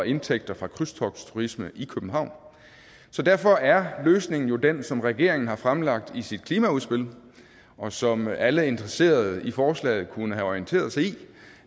indtægter fra krydstogtturisme i københavn så derfor er løsningen jo den som regeringen har fremlagt i sit klimaudspil og som alle der er interesseret i forslaget kunne have orienteret sig i